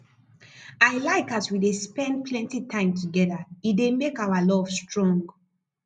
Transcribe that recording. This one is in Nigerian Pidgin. i like as we dey spend plenty time together e dey make our love strong